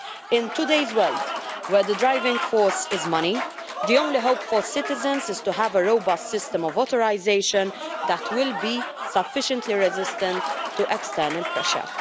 In today's world where the driving force is money, the only hope for citizens is to have a robust system of authorisation that will be sufficiently resistant to external pressure.